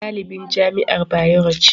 Ummi ɗalibin jami'ar Bayero ce